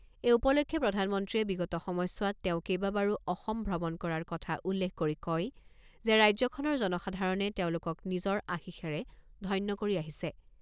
এই উপলক্ষে প্ৰধানমন্ত্ৰীয়ে বিগত সময়ছোৱাত তেওঁ কেইবাবাৰো অসম ভ্ৰমণ কৰাৰ কথা উল্লেখ কৰি কয় যে ৰাজ্যখনৰ জনসাধাৰণে তেওঁলোকক নিজৰ আশীষেৰে ধন্য কৰি আহিছে।